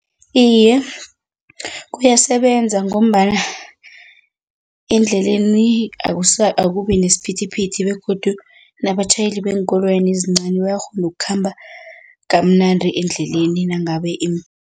Iye, kuyasebenza ngombana endleleni akubi nesiphithiphithi begodu nabatjhayeli beenkoloyana ezincani bayakghona ukukhamba kamnandi endleleni nangabe